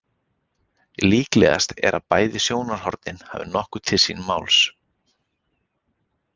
Líklegast er að bæði sjónarhornin hafi nokkuð til síns máls.